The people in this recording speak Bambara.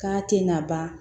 K'a tɛ na ban